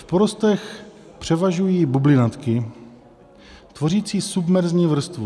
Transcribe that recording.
V porostech převažují bublinatky tvořící submerzní vrstvu.